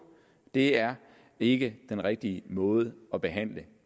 det er ikke den rigtige måde at behandle